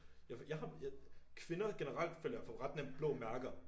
Jeg jeg har kvinder generelt føler jeg får ret nemt blå mærker